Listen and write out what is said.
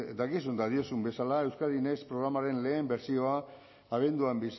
dakizun eta diozun bezala euskadi next programaren lehen bertsioa abenduan